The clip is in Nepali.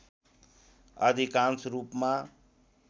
अधिकांश रूपमा